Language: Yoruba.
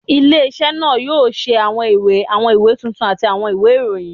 Ile-iṣẹ naa yoo ṣe awọn iwe, awọn iwe tuntun ati awọn iwe irohin